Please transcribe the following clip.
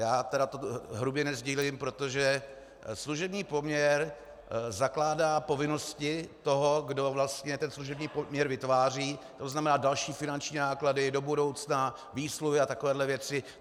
Já tedy toto hrubě nesdílím, protože služební poměr zakládá povinnosti toho, kdo vlastně ten služební poměr vytváří, to znamená další finanční náklady do budoucna, výsluhy a takovéhle věci.